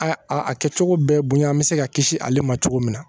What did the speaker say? A a kɛcogo bɛɛ bonyan bɛ se ka kisi ale ma cogo min na